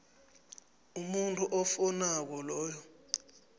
umuntu ofowunako loyo